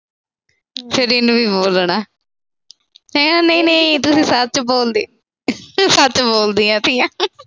ਬੋਲਣਾ। ਫਿਰ ਨਹੀਂ-ਨਹੀਂ ਤੂੰ ਸੱਚ ਬੋਲਦੀ, ਤੂੰ ਸੱਚ ਬੋਲਦੀ ਤੀਆ।